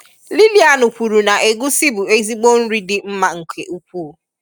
Lilian kwuru na egusi bụ ezigbo nri dị mma nke ukwuu